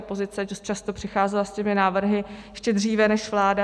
Opozice často přicházela s těmi návrhy ještě dříve než vláda.